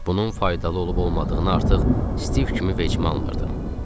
Bunun faydalı olub-olmadığını artıq Stiv kimi vecimə almırdım.